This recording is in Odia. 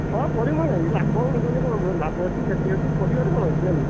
ହଁ କରିବୁନୁ କାଇଁ ଲାଭ ଲାଭ ଅଛି କ୍ଷତି ଅଛି କରିବାରେ କଣ ଅଛି ଜାଣିଲୁ।